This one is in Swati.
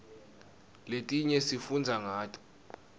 letinye sifundza ngato